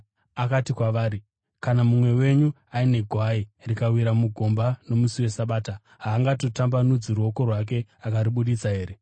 Akati kwavari, “Kana mumwe wenyu aine gwai, rikawira mugomba nomusi weSabata, haangatambanudzi ruoko rwake akaribudisa here?